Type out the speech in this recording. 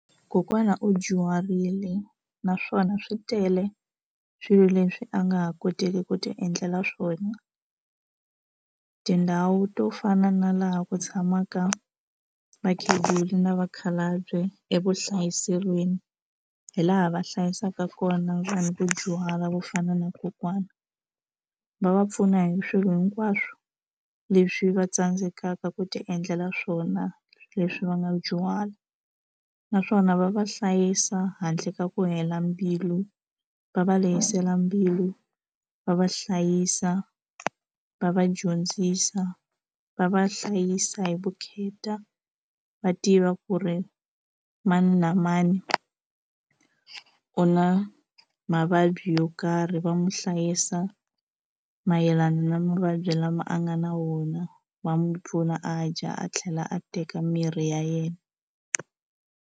Kokwana u dyuharile naswona swi tele swilo leswi a nga ha koteki ku ti endlela swona tindhawu to fana na laha ku tshamaka vakhegula na vakhalabye evuhlayiselweni hi laha va hlayisaka kona vanhu va dyuhala vo fana na kokwana va va pfuna hi swilo hinkwaswo leswi va tsandzekaka ku ti endlela swona leswi va nga dyuhala naswona va va hlayisa handle ka ku hela mbilu va va lehisela mbilu va va hlayisa va va dyondzisa va va hlayisa hi vukheta va tiva ku ri mani na mani u na mavabyi yo karhi va n'wi hlayisa mayelana na mavabyi lama a nga na wona va n'wi pfuna a dya a tlhela a teka mirhi ya yena.